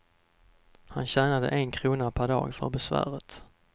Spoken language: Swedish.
Han tjänade en krona per dag för besväret.